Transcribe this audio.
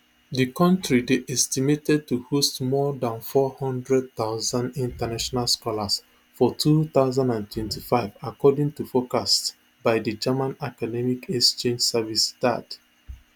di kontri dey estimated to host more dan four hundred thousand international scholars for two thousand and twenty-five according toforecasts by di german academic exchange service daad